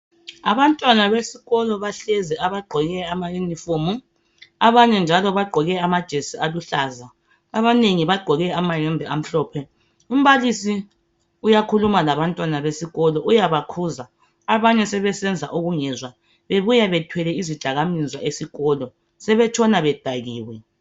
abantwana besikolo bahlezi abagqoke ama uniform abanye njalo bagqoke ama jersey aluhlaza abanengi bagqoke amayembe amhlophe umbalisi uyakhuluma labantwana besikolo uyabakhuza abanye sebesenha ubungezwa bebuya bethwele izidakamizwa esikolo sebetshna bedakiwe